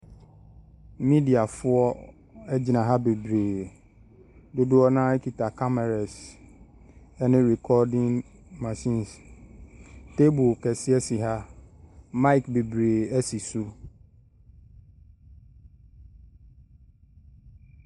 Mediafoɔ gyina ha bebree, dodoɔ no ara kita cameras ne recording machines, table kɛseɛ si ha, mic bebree si so.